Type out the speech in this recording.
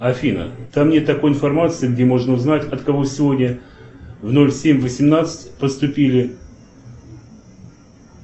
афина там нет такой информации где можно узнать от кого сегодня в ноль семь восемнадцать поступили